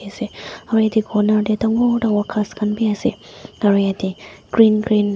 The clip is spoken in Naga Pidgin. ase aro yatae corner tae dangor dangor ghas khan bi ase aro yatae green --